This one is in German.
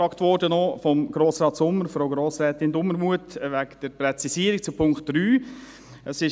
Ich wurde von Grossrat Sommer und von Grossrätin Dumermuth nach einer Präzisierung zu Punkt 3 gefragt.